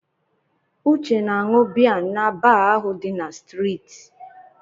Uche na-aṅụ biya na baa ahụ dị n'streeti.